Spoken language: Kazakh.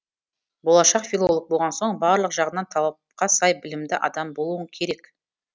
болашақ филолог болған соң барлық жағынан талапқа сай білімді адам болуың керек